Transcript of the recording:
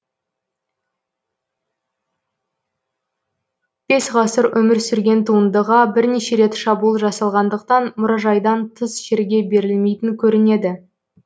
бес ғасыр өмір сүрген туындыға бірнеше рет шабуыл жасалғандықтан мұражайдан тыс жерге берілмейтін көрінеді